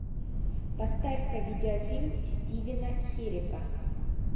поставь ка видеофильм стивена херека